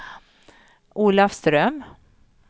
Olafström